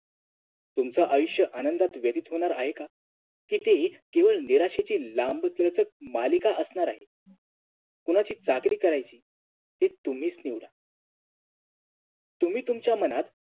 तुमचा आयुष्य आनंदात व्यतीत होणार आहे का हे तर एक केवळ नैराश्याची लाम्बलचक मालिका असणार आहे कुणाची चाकरी करायची ते तुम्हीच निवडा तुम्ही तुमच्या मनात